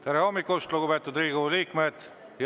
Tere hommikust, lugupeetud Riigikogu liikmed!